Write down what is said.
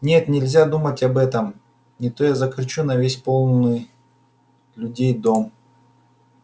нет нельзя думать об этом не то я закричу на весь полный людей дом